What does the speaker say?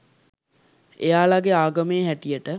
එයාලගෙ ආගමේ හැටියට